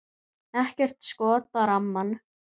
Ekkert skot á rammann?